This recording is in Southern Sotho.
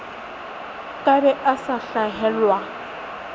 ka be a sa hlahelwa